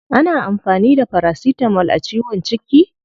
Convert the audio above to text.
Ana amfani da paracetamol a ciwon ciki?